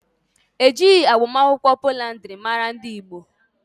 Ejighi agbamakwụkwọ poliandiri mara ndị Igbo.